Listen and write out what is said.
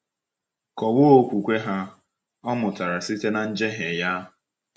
Kọwaa okwukwe ha — Ọ mụtara site na njehie ya.